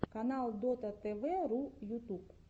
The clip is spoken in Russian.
канал дотатэвэру ютуб